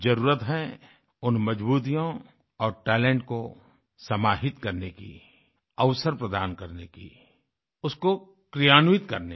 जरुरत है उन मजबूतियों और टैलेंट को समाहित करने की अवसर प्रदान करने की उसको क्रियान्वित करने की